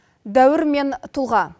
дәуір мен тұлға